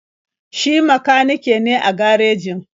Shi makanike ne a garejin.